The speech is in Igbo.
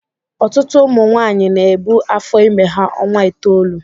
Ọtụtụ ụmụ nwanyị na-ebu afọ ime ha ọnwa itoolu